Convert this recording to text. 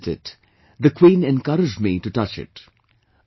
As I gazed at it, the Queen encouraged me to touch it